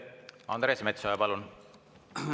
Andres Metsoja, palun!